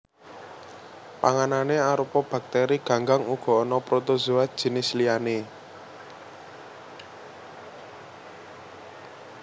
Panganané arupa baktèri ganggang uga ana protozoa jinis liyané